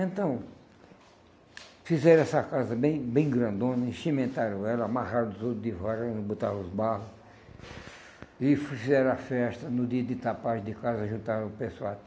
E então, fizeram essa casa bem bem grandona, enchimentaram ela, amarraram os outros de vara, botaram os barro, e fizeram a festa no dia de tapagem de casa, juntaram o pessoal.